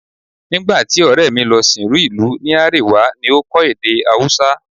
Nígbà tí ọ̀rẹ́ mi lọ sìnrú ìlú ní Árèwá ni ó kọ́ èdè Haúsá